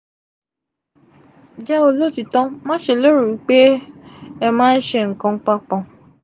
jẹ olotiito ma ṣe lero wi pe ẹ ma ṣe nkan papọ.